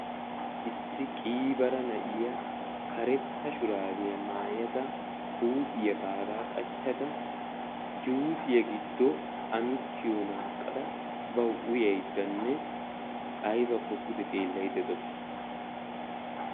Issi qiiba na'iya karetta shurabbiya maayadda juussiya uyayiddenne aybbakko pude xeellayidde de'awussu.